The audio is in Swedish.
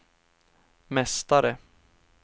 mästare